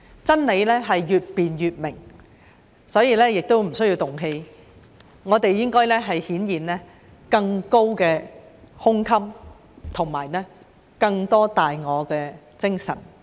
真理是越辯越明，所以不需要動氣，我們應該顯現更高的胸襟和更多大我的精神。